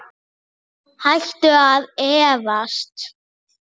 Hættu að efast!